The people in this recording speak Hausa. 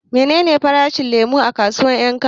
Menene farashin lemo a kasuwar 'Yankaba?